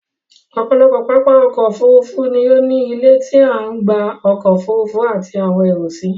Ọ̀pọ̀lọpọ̀ pápá ọkọ̀ Òfurufú ni ó ní ilé tí a ń gba ọkọ̀ Òfurufú àti àwọn èrò si